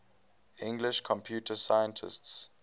english computer scientists